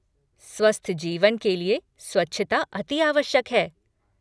स्वस्थ जीवन के लिए स्वच्छता अति आवश्यक है।